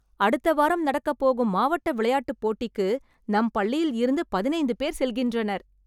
அடுத்த வாரம் நடக்கப் போகும் மாவட்ட விளையாட்டுப் போட்டிக்கு நம் பள்ளியில் இருந்து பதினைந்து பேர் செல்கின்றனர்